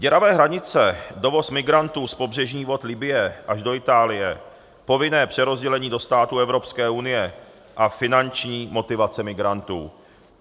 Děravé hranice, dovoz migrantů z pobřežních vod Libye až do Itálie, povinné přerozdělení do států Evropské unie a finanční motivace migrantů.